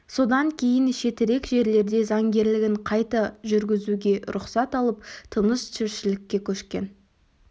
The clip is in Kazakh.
содан кейін шетірек жерлерде заңгерлігін қайта жүргізуге рұқсат алып тыныш тіршілікке көшкен